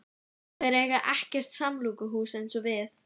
Þeir eiga ekkert samkomuhús eins og við.